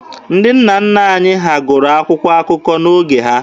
Ndị nna nna anyị ha gụrụ akwụkwọ akụkọ n'oge ha.